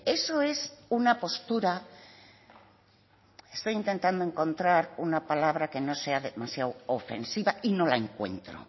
eso es una postura estoy intentando encontrar una palabra que no sea demasiado ofensiva y no la encuentro